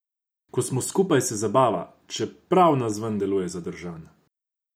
Ko smo skupaj, se zabava, čeprav navzven deluje zadržan.